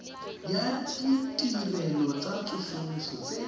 ya ditirelo tsa tsosoloso tse